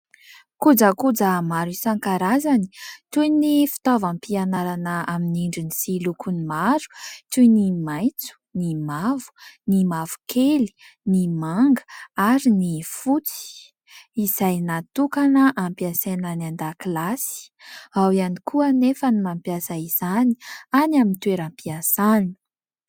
Kojakoja maro isankarazany toy ny fitaovam-pianarana amin'ny endriny sy lokony maro toy ny maitso, ny mavo, ny mavokely, ny manga ary ny fotsy izay natokana hampiasaina any an-dakilasy. Ao ihany koa anefa ny mampiasa izany any amin'ny toeram-piasany.